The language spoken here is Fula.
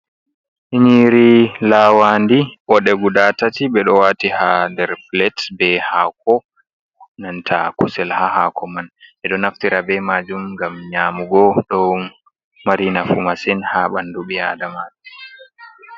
Nyiri lawa ndi ɓode guda tati, ɓe ɗo wati ha nder plat, be hako nanta kusel ha hako man, ɓe ɗo naftira be majum ngam nyamugo, dow mari nafu masin ha ɓandu ɓi adamaju.